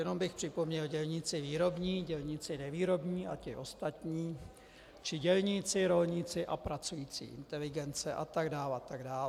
Jenom bych připomněl: dělníci výrobní, dělníci nevýrobní a ti ostatní, či dělníci, rolníci a pracující inteligence atd., atd.